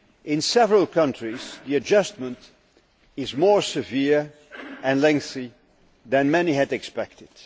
In several countries, the adjustment is more severe and lengthy than many had expected.